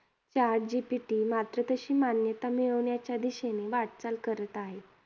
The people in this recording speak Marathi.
Chat GPT मात्र तशी मान्यता मिळवण्याच्या दिशेने वाटचाल करत आहे.